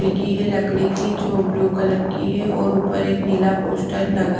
खिड़की है लकड़ी की जो ब्लू कलर की है और उपर एक नीला पोस्टर लगा--